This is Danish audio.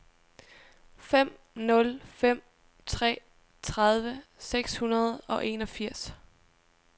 fem nul fem tre tredive seks hundrede og enogfirs